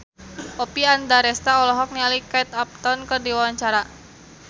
Oppie Andaresta olohok ningali Kate Upton keur diwawancara